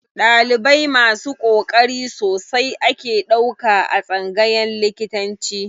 Ɗalibai masu ƙoƙari sosai ake ɗauka a tsangayan likitanci.